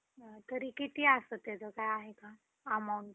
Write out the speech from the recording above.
तरी किती असतं त्याचं काय amount